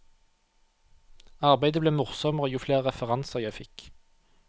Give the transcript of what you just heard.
Arbeidet ble morsommere jo flere referanser jeg fikk.